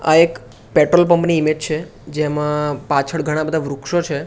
આ એક પેટ્રોલ પંપની ઇમેજ છે જેમાં પાછળ ઘણા બધા વૃક્ષો છે.